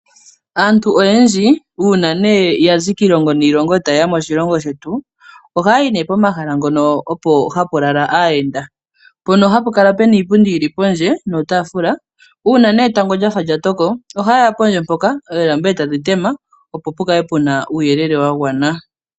Aantu oyendji uuna ya zi kiilongo niilongo eta yeya moshilongo shetu . Ohaya yi nee pomahala ngono hapu lala aayenda . Mpono hapu kala puna iipundi yili pondje niitaafula . Uuna etango lya toko ohayeya pondje mpoka oolamba eta dhi tema . Opo pukale puna uuyelele wa gwana.